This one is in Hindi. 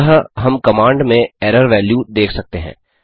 अतः हम कमांड में एरर वैल्यू देख सकते हैं